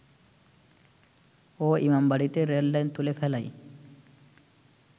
ও ইমামবাড়িতে রেললাইন তুলে ফেলায়